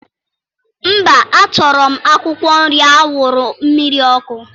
Mba, a chọrọ m akwụkwọ nri awuru mmiri ọkụ?